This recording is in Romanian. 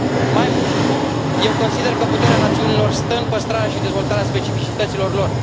Mai mult, eu consider că puterea națiunilor stă în păstrarea și dezvoltarea specificităților lor.